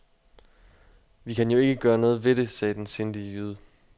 Vi kan jo ikke gøre noget ved det, sagde den sindige jyde.